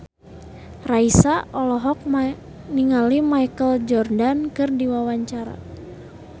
Raisa olohok ningali Michael Jordan keur diwawancara